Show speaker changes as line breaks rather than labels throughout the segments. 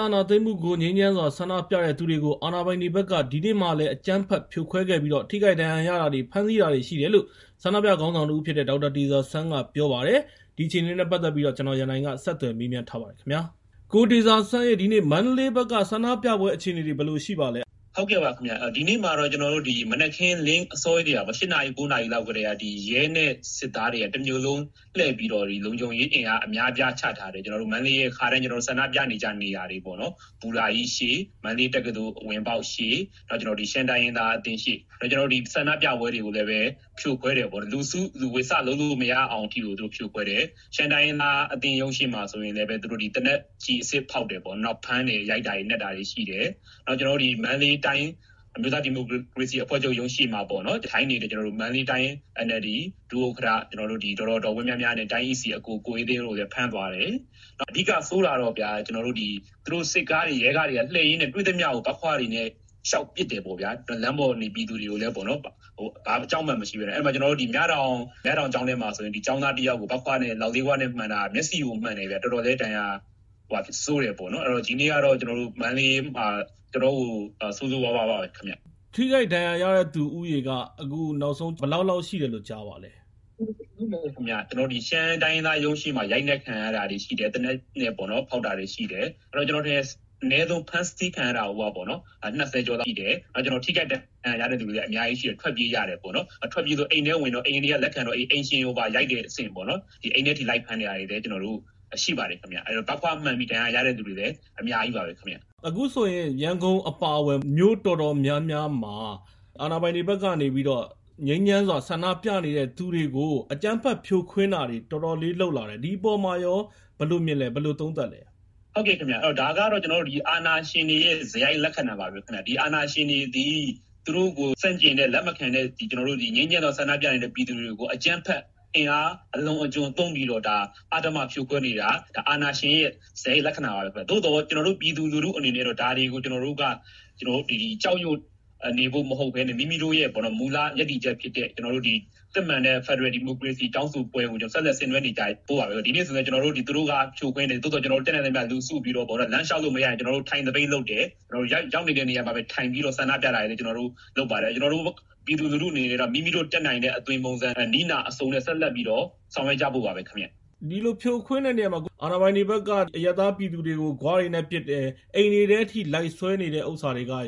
အာဏာသိမ်းမှုကို ငြိမ်းချမ်းစွာဆန္ဒပြသူတွေကို အာဏာပိုင်တွေဘက်က ဒီနေ့မှာလည်း အကြမ်းဖက်ဖြိုခွဲခဲ့ပြီး ထိခိုက်ဒဏ်ရာရတာတွေ၊ ဖမ်းဆီးတာတွေရှိတယ်လို့ ဆန္ဒပြခေါင်းဆောင်တဦးဖြစ်တဲ့ ဒေါက်တာတေဇာဆန်းက ပြောပါတယ်။ ဒီအခြေအနေနဲ့ပတ်သက်ပြီး ကိုရန်နိုင်က ဆက်သွယ်မေးမြန်ထားပါတယ်။ ရန်နိုင်။ ။ ကိုတေဇာဆန်းရေ ဒီနေ့ မန္တလေးဘက်က ဆန္ဒပြပွဲအခြေအနေတွေ ဘယ်လိုရှိပါသလဲ။ ဒေါက်တာတေဇောဆန်း။ ။ ဒီနေ့မှာတော့ မ
နက်ခင်းလင်း အစောကြီး ၈ နာရီ ၉နာရီလောက်ကတည်းက ရဲ နဲ့ စစ်သားတွေက တမြို့လုံးလှည့်ပြီးတော့ လုံခြုံရေးအင်အားအများအပြားချထားတယ်။ ကျနော်တို့မန္တလေးရဲ့ ခါတိုင်း ဆန္ဒပြနေကျနေရာတွေပေါ့နော်။ ဘူတာကြီးရှေ့၊ မန္တလေးတက္ကသိုလ် အဝင်ပေါက်ရှေ့နဲ့ ရှမ်းတိုင်းရင်းသားအသင်းအရှေ့တွေမှာ။ နောက် ဆန္ဒပြပွဲတွေကိုလည်း ဖြိုခွဲတယ်။ လူစုလူဝေးစလုပ်လို့မရအောင်အထိကို ဖြိုခွဲတယ်။ ရှမ်းတိုင်းရင်းသားဒေသတင်းရုံးရှေ့မှာဆိုရင်လည်း သူတို့ကသေနတ်ကျည်အစစ် ဖောက်တယ်။ နောက်ဖမ်းတယ်၊ ရိုက်နှက်တာတွေရှိတယ်။ နောက် မန္တလေးတိုင်း အမျိုးသားဒီမိုကရေစီအဖွဲ့ချုပ်ရုံးရှေ့မှာထိုင်နေတဲ့ မန္တလေးတိုင်း NLD ရဲ့ ဒုဥက္ကဋ္ဌ ဒေါ်ဝင်းမြမြနဲ့ တိုင်းကော်မတီဝင် ကိုအေးသိန်းတို့ကိုလည်း ဖမ်းသွားတယ်။ အဓိကဆိုးတာကတော့ သူတို့ စစ်ကားတွေ၊ ရဲကားတွေက လှည့်ရင်းနဲ့ တွေ့သမျှလမ်းပေါ်မှာရှိတဲ့ ပြည်သူတွေကို ဘတ်ခွ တွေနဲ့ လျှောက်ပစ်တယ်။ မြတောင်ကျောင်းထဲမှာဆိုရင် ကျောင်းသားတယောက် လောက်လေးခွမှန်တာ မျက်စိကိုမှန်တာ တော်တော်လေး ဒဏ်ရာဆိုးတယ်။ ဒီနေ့ကတော့ ကျနော်တို့ မန္တလေးမှာ တော်တော်လေး ဆိုးဆိုးရွားရွားပါပဲခင်ဗျ။ ရန်နိုင်
။ ။ ထိခိုက်ဒဏ်ရာရတဲ့သူဦးရေ အခုနောက်ဆုံးဘယ်လောက်လောက် ရှိတယ်လို့ ကြားပါသလဲ
။ ဒေါက်တာတေဇာဆန်း။ ။ ရှမ်းတိုင်းရင်းသားအသင်းရုံးရှေ့မှာ ရိုက်နှက်ခံရတာတွေရှိတယ်။ သေနတ်ဖောက်တာတွေရှိတယ်။ အဲဒီတော့ ကျနော်ထင်တယ် အနည်းဆုံးဖမ်းဆီးခံရတာကိုက ၂၀ ကျော်ရှိတယ်။ ထိခိုက်ဒဏ်ရာရတဲ့သူတွေလည်း အများကြီးရှိပြီး ၊ ထွက်ပြေးကြပါတယ်။ ထွက်ပြေးတော့ အိမ်တွေထဲကိုဝင်တော့ အိမ်တွေကလည်း လက်ခံတဲ့အခါမှာ အိမ်ရှင်ကိုပါ ရိုက်တဲ့အဆင့်ပါရှိပါတယ်။ အိမ်ထဲအထိ လိုက်ဖမ်းတာတွေလည်းရှိပါတယ်။ ဘတ်ခွ မှန်ပြီး ဒဏ်ရာရတဲ့သူတွေလည်း အများကြီးပ
ါပဲခင်ဗျ။ ရန်နိုင်။ ။ အခုဆိုရင် ရန်ကုန်အပါအဝင် မြို့အတော်များများမှာ အာဏာပိုင်တွေဘက်က ငြိမ်းချမ်းစွာ ဆန္ဒပြနေတဲ့သူတွေကို အကြမ်းဖက်ဖြိုခွဲတာတွေလုပ်လာတယ်။ ဒီအပေါ်မှာရော ဘယ်လိုမြင်ပါသလဲ ဘယ်လိုသုံးသပ်ပါသလဲ။ ဒေါက်တာတေဇာဆန်း။ ။ ဒါကတော့ အ
ာဏာရှင်တွေရဲ့ စရိုက်လက္ခဏာပါပဲခင်ဗျ။ ဒီအာဏာရှင်တွေသည် သူတို့ကိုဆန့်ကျင်တဲ့ လက်မခံတဲ့ ငြိမ်းချမ်းစွာဆန္ဒပြနေတဲ့ပြည်သူတွေကို အကြမ်းဖက် ၊ အင်အားအလွန်အကျွံသုံးပြီးတော့ အဓမ္မဖြိုခွဲနေတာ၊ အာဏာရှင်ရဲ့ စရိုက်လက္ခဏာပါပဲခင်ဗျာ။ သို့သော်ကျနော်တို့ ပြည်သူလူထုအနေနဲ့ကတော့ ဒါတွေကို ကျနော်တို့က ကြောက်ရွံ့နေဖို့မဟုတ်ဘဲ မိမိတို့ရဲ့ မူလရပ်တည်ချက်ဖြစ်တဲ့ စစ်မှန်တဲ့ ဖယ်ဒရယ်ဒီမိုကရေစီတောင်းဆိုပွဲကို ဆက်လက်ဆင်နွဲနေကြဖို့ပါပဲ။ ဒိဗန့ဆိုရင် သူတို့က ဖြိုခွဲတယ်။ သို့သော် ကျနော်တို့က တတ်နိုင်သမျှလူစုပြီးတော့ လမ်းလျှောက်လို့မရလျှင် ထိုင်သပိတ်လုပ်တယ်၊ ရောက်နေတဲ့နေရာမှာပဲ ထိုင်ပြီးတော့ ဆန္ဒပြတာတွေ လုပ်ပါတယ်။ ကျနော်တို့ ပြည်သူလူထုတွေအနေနဲ့ မိမိတို့ တတ်နိုင်တဲ့ အသွင်ပုံစ၊ နည်းနာ အစုံနဲ့ ဆက်လက်ပြီးတော့ ဆောင်ရွက်ကြဖို့ပါပ
ဲ။ ရန်နိုင်။ ။ ဒီလိုဖြိုခွင်းတဲ့နေရာမှာ အာဏာပိုင်တွေဘက်က အရပ်သားပြည်သူတွေကို လေးခွတွေနဲ့ပစ်တယ်၊ အိမ်တွေထဲအထိ လိုက်ဆွဲနေတယ်ဟာတွေက ဥ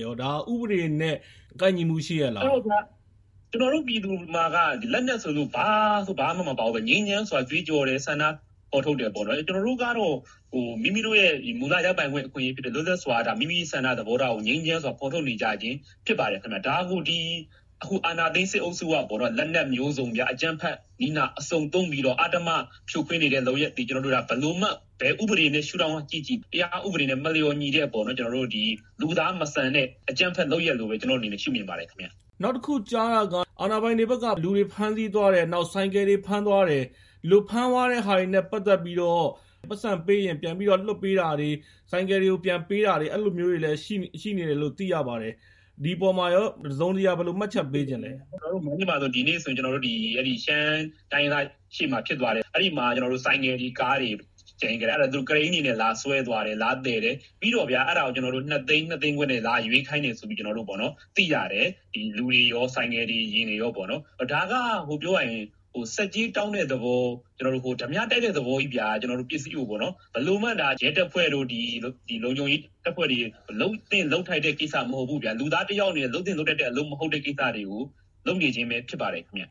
ပဒေနဲ့ ကိုက်ညီမှုရှိရဲ့လား။ ဒေါက်တာတေဇာဆန်း။ ။ ကျနော်တို့ပြည်သူမှာက လက်နက်ဆိုလို့ ဘာဆိုဘာမှ မပါဘူးဗျ။ ငြိမ်းချမ်းစွာ ကြွေး
ကြော်တယ် ဆန္ဒဖော်ထုတ်တယ်။ ကျနော်တို့ကတော့ မိမိတို့ရဲ့မူလရပိုင်ခွင့် အခွင့်အရေးဖြစ်တဲ့ ၊ လွတ်လပ်စွာ မိမိဆန္ဒသဘောထားကို ငြိမ်းချမ်းစွာ ဖော်ပြနေကြခြင်းဖြစ်ပါတယ်ခင်ဗျ။ ဒါကိုအခုအာဏာသိမ်းစစ်အုပ်စုက လက်နက်မျိုးစုံ နဲ့ အကြမ်းဖက်နည်း အစုံသုံးပြီး အဓမ္မဖြိုခွင်းနေတဲ့ လုပ်ရပ်သည် ဘယ်လိုမှ၊ ဘယ်ဥပဒေရှုထောင့်ကကြည့်ကြည့်၊ တရားဥပဒေနဲ့ မလျော်ညီ
တဲ့ လူသားမဆန်တဲ့
အကြမ်းဖက်လုပ်ရပ်လို့ပဲ ကျနော်အနေနဲ့ ရှုမြင်ပ
ါတယ်။ ရန်နိုင်။ ။ နောက်တခုကြားတာက အာဏာပိုင်တွေက လူတွေကိုဖမ်းသွားတယ် ၊ ဆိုင်ကယ်တွေကိုဖမ်းသွားတယ်။ ဒီလိုဖမ်းသွားတာတွေနဲ့ ပတ်သက်ပြီး ပိုက်ဆံပေးရင် ပြန်လွှတ်ပေးတာတွေ၊ ဆိုင်ကယ်တွေပြန်လွှတ်ပေးတာတွေ ရှိနေတယ်လို့ သိရပါတယ်။ဒီအပေါ်မှာရော တစုံတရာ ဘယ်လိုမှတ်ချက်ပေးချင်လဲ။
ဒေါက်တာတေဇာဆန်း။ ။ မန္တလေးမှာ ဒီနေ့ဆိုရင် အဲဒီရှမ်းတိုင်းရင်းသားအသင်းရုံးရှေ့မှာ ဖြစ်သွားတယ်။ အဲဒီမှာ ဆိုင်ကယ်တွေ၊ ကားတွေကို သူတို့ ကရိန်းတွေနဲ့လာဆွဲသွားတယ်။ ပြီးတော့ အဲဒါကို ၂ သိန်း ၊၂ သိန်းခွဲနဲ့ လာရွေးခိုင်တယ်လို့ သိရတယ်။ လူတွေရော ဆိုင်ကယ်နဲ့ ကား တွေရောပေါ့။ ဒါက ဆက်ကြေးတောင်းတဲ့သဘော၊ ဓါးပြတိုက်တဲ့သဘောကြီးပေါ့နော်၊ဘယ်လိုမှ ရဲတပ်ဖွဲ့တွေ၊ လုံခြုံရေးတပ်ဖွဲ့တွေအနေနဲ့ လုပ်သင့်လုပ်ထိုက်တဲ့ကိစ္စမဟုတ်ဘူးဗျာ။ လူသားတယောက်အနေနဲ့ လုပ်သင့်လုပ်ထိုက်တဲ့ အလုပ်မဟုတ်တဲ့ကိစ္စတွေကို လုပ်နေကြခြင်းပဲဖြစ်ပါတယ်ခင်ဗျ။